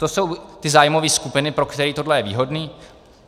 To jsou ty zájmové skupiny, pro které je tohle výhodné.